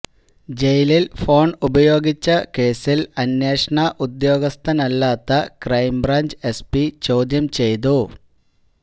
ജയിലില് ഫോണ് ഉപയോഗിച്ച കേസില് അന്വേഷണ ഉദ്യോഗസ്ഥനല്ലാത്ത ക്രൈംബ്രാഞ്ച് എസ്പി ചോദ്യം ചെയ്തു